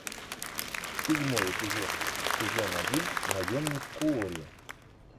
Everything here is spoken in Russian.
седьмой эпизод сезон один наемник куорри